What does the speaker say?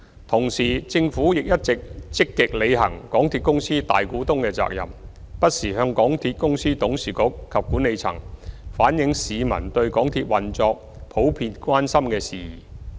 同時，政府一直積極履行港鐵公司大股東的責任，不時向港鐵公司董事局及管理層反映市民對港鐵運作普遍關心的事宜。